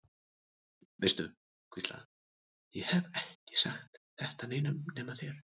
Veistu, hvíslaði hann, ég hef ekki sagt þetta neinum nema þér.